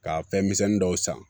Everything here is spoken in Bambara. Ka fɛn misɛnnin dɔw san